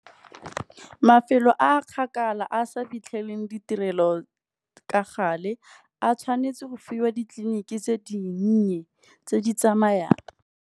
Mafelo a a kgakala a sa fitlheleleng ditirelo ka gale, a tshwanetse go fiwa ditleliniki tse dinnye tse di tsamayang.